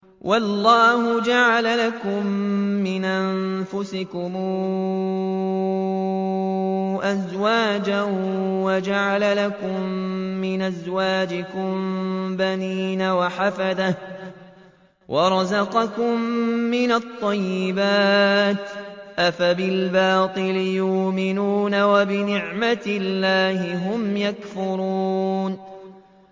وَاللَّهُ جَعَلَ لَكُم مِّنْ أَنفُسِكُمْ أَزْوَاجًا وَجَعَلَ لَكُم مِّنْ أَزْوَاجِكُم بَنِينَ وَحَفَدَةً وَرَزَقَكُم مِّنَ الطَّيِّبَاتِ ۚ أَفَبِالْبَاطِلِ يُؤْمِنُونَ وَبِنِعْمَتِ اللَّهِ هُمْ يَكْفُرُونَ